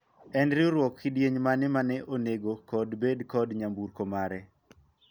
en riwruok kidieny mane ma onego kod bedo kod nyamburko mare